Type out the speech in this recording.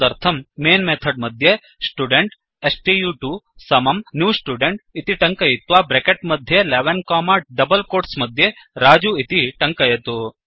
तदर्थं main method मध्ये student स्तु2 समं न्यू स्टुडेन्ट् इति टङ्कयित्वा ब्रेकेट् मध्ये 11 कोमा डबल् कोट्स् मध्ये रजु इति टङ्कयतु